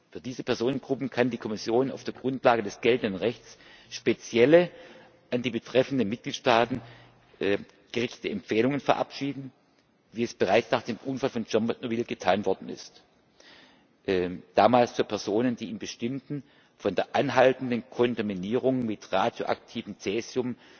Für diese Personengruppen kann die Kommission auf der Grundlage des geltenden Rechts spezielle an die betreffenden Mitgliedstaaten gerichtete Empfehlungen verabschieden, wie es bereits nach dem Unfall von Tschernobyl getan worden ist damals für Personen, die in bestimmten von der anhaltenden Kontaminierung mit radioaktivem Cäsium